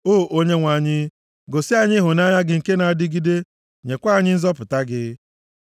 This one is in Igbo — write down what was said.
O Onyenwe anyị, gosi anyị ịhụnanya gị nke na-adịgide, nyekwa anyị nzọpụta gị.